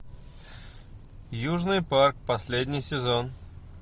южный парк последний сезон